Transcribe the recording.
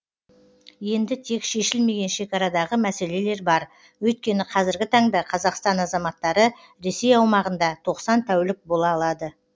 енді тек шешілмеген шекарадағы мәселелер бар өйткені қазіргі таңда қазақстан азаматтары ресей аумағында тоқсан тәулік бола алады